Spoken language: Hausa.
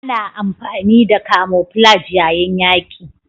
Ana amfani da camoflage yayin yaƙi